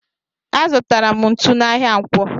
Azutara m ntụ n'ahia ǹkwọ.